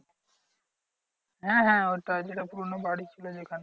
হ্যাঁ হ্যাঁ ওইটাই যেটা পুরোনো বাড়ি ছিল যেখানে।